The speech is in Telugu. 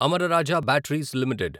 Amara Raja batteries limited